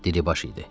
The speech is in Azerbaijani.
Diribaş idi.